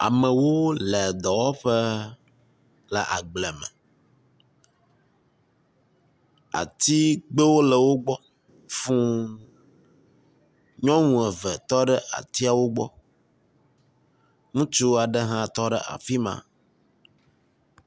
Amewo le dɔwɔƒe le agble me. atigbewo le wo gbɔ fuu. Nyɔnu eve tɔ ɖe atiawo gbɔ. Ŋutsu aɖe hã tɔ ɖe afi ma.